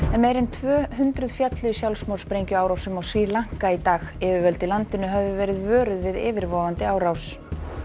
meira en tvö hundruð féllu í sjálfsmorðssprengjuárásum á Sri Lanka í dag yfirvöld í landinu höfðu verið vöruð við yfirvofandi árás